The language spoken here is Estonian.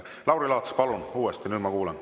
Lauri Laats, palun uuesti, nüüd ma kuulen.